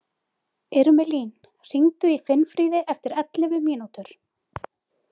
Irmelín, hringdu í Finnfríði eftir ellefu mínútur.